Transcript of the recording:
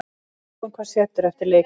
Sjáum hvað setur eftir leikhlé.